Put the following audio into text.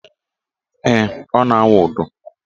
Ee, ọ na - awụ ụdọ